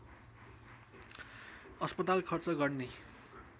अस्पताल खर्च गर्ने